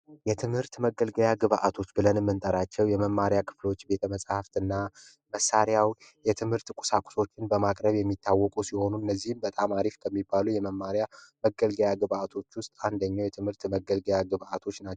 የትምህርት መገልገያ ግባቶች ብለን የምንጠራቸው የመማሪያ ክፍሎች ቤተ መፅሐፍ እና መሳሪያዎች የትምህርት ቁሳቁሶችን በማቅረብ የሚታወቁ ሲሆኑ እነዚህም በጣም አሪፍ ከሚባሉ የትምህርት መገልገያ ግባቶች አንደኛው የትምህርት መገልገያ ግባቶች ናቸው።